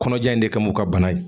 Kɔɲɔja in de kama ka u ka bana ye.